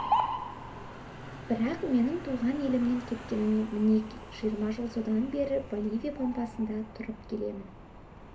бірақ менің туған елімнен кеткеніме мінеки жиырма жыл содан бері боливия пампасында тұрып келемін